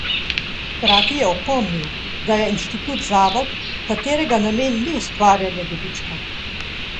Hkrati je opomnil, da je inštitut zavod, katerega namen ni ustvarjanje dobička.